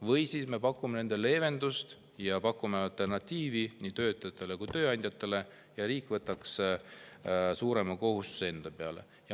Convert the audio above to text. Või me pakume nendele leevendust, pakume alternatiivi nii töötajatele kui tööandjatele, nii et riik võtab suurema kohustuse enda peale.